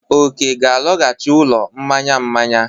Oke ga-alaghachi n'ụlọ mmanya mmanya.